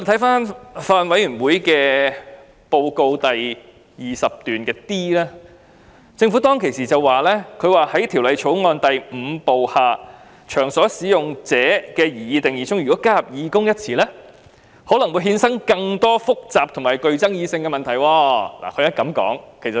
法案委員會報告的第 20d 段指出，政府說"在《條例草案》第5部下'場所使用者'的擬議定義中加入'義工'一詞，可能衍生更多複雜和具爭議的問題"。